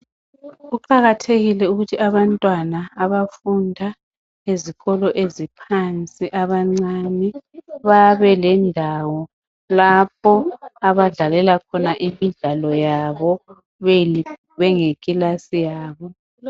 Kuqakathekile ukuthi abantwana abafunda ezikolo eziphansi abancani babe lendawo lapho abadlalela khona imidlalo yabo beyikilasi yabo.